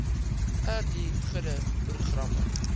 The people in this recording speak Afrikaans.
ri gude programme